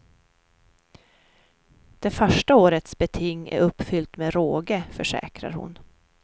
Det första årets beting är uppfyllt med råge, försäkrar hon.